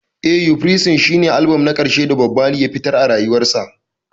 Eh, uprising shine albam na ƙarshe da Bob Marley ya fitar a rayuwarsa.